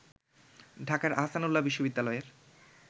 ঢাকার আহসানউল্লাহ বিশ্ববিদ্যালয়ের